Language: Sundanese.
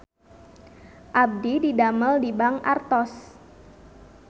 Abdi didamel di Bank Artos